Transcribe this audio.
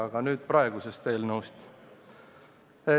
Aga nüüd praegusest eelnõust.